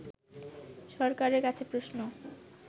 সরকারের কাছে প্রশ্ন